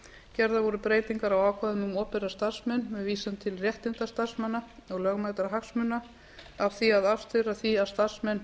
gerðar voru breytingar á ákvæðum um opinbera starfsmenn með vísan til réttinda starfsmanna og lögmætra hagsmuna að starfsmenn